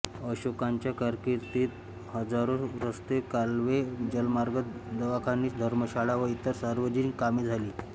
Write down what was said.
अशोकाच्या कारकीर्दीत हजारो रस्ते कालवे जलमार्ग दवाखाने धर्मशाळा व इतर सार्वजनिक कामे झाली